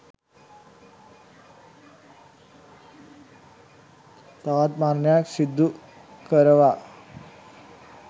තවත් මරණයක් සිදු කරවා